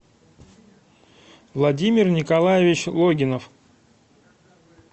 владимир николаевич логинов